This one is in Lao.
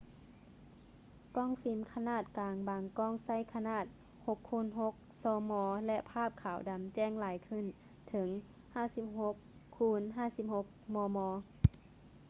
ກ້ອງຟິມຂະໜາດກາງບາງກ້ອງໃຊ້ຂະໜາດ 6x6 ຊມ ແລະ ພາບຂາວດຳແຈ້ງຫຼາຍຂຶ້ນເຖິງ 56x56 ມມ